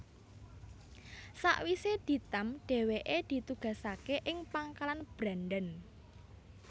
Sawise ditamp dheweke ditugasake ing Pangkalan Brandan